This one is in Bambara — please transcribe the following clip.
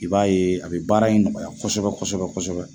I b'a ye a bɛ baara in nɔgɔya kosɛbɛ kosɛbɛ kosɛbɛ.